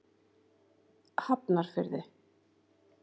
Hafnarfirði